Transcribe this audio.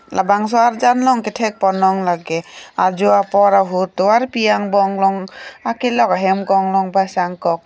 labangso arjan along kethek ponlong lake ajo apor ahut tovarpi angbong along akelok hem konglong pasang kok.